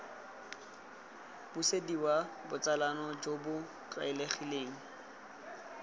busediwa botsalano jo bo tlwaelegileng